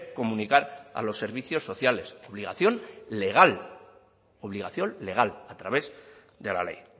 comunicar a los servicios sociales obligación legal obligación legal a través de la ley